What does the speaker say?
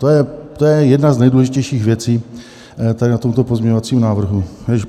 To je jedna z nejdůležitějších věcí tady na tomto pozměňovacím návrhu.